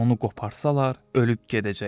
Onu qoparsalar ölüb gedəcəkdi.